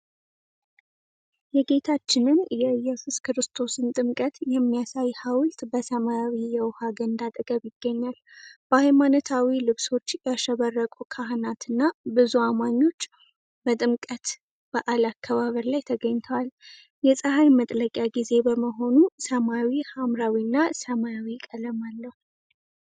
የጌታችንን የኢየሱስ ክርስቶስን ጥምቀት የሚያሳይ ሃውልት በሰማያዊ የውሃ ገንዳ አጠገብ ይገኛል። በሃይማኖታዊ ልብሶች ያሸበረቁ ካህናትና ብዙ አማኞች በጥምቀት በዓል አከባበር ላይ ተገኝተዋል። የፀሐይ መጥለቂያ ጊዜ በመሆኑ ሰማዩ ሐምራዊና ሰማያዊ ቀለም አለው።